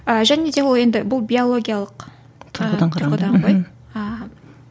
а және де ол енді бұл биологиялық тұрғыдан ғой аха